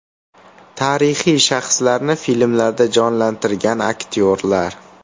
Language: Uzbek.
Tarixiy shaxslarni filmlarda jonlantirgan aktyorlar .